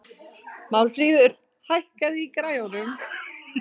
Málmfríður, hækkaðu í græjunum.